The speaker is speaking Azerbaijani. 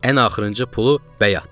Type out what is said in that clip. Ən axırıncı pulu bəy atdı.